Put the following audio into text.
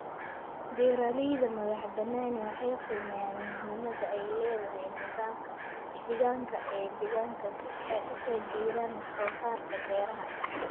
Beeralayda madax-bannaani waxay qiimeeyaan muhiimadda ay leedahay nidaamka deegaanka ee deegaanka si ay u taageeraan wax soo saarka beeraha.